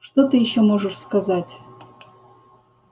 что ты ещё можешь сказать